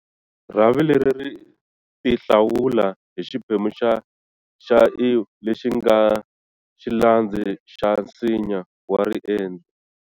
Rhavi leri ri tihlawula hi xiphemu xa"-iw" lexi nga xilandzi xa nsinya wa riendli.